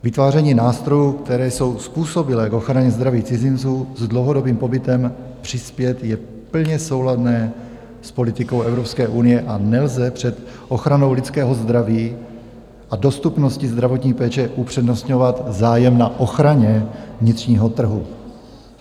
Vytváření nástrojů, které jsou způsobilé k ochraně zdraví cizinců s dlouhodobým pobytem přispět, je plně souladné s politikou Evropské unie a nelze před ochranou lidského zdraví a dostupností zdravotní péče upřednostňovat zájem na ochraně vnitřního trhu.